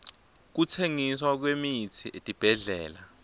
kutsengiswa kwemitsi etibhedlela